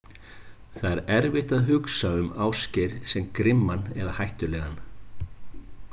Það er erfitt að hugsa um Ásgeir sem grimman eða hættulegan.